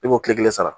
E b'o tile kelen sara